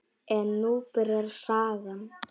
En nú byrjar sagan.